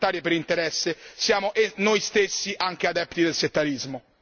Perché finché tolleriamo guerre settarie per interesse siamo noi stessi anche adepti del settarismo.